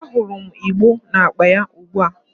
Ahurum igbo na-akpa ya ugbua